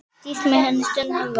Stýrt með henni stundum var.